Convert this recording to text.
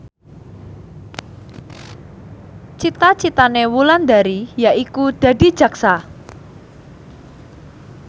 cita citane Wulandari yaiku dadi jaksa